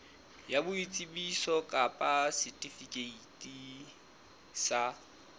ya boitsebiso kapa setifikeiti sa